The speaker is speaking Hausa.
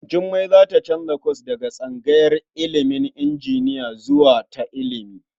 Jummai za ta canza kwas daga tsangayar ilimin injiniya zuwa ta ilimi.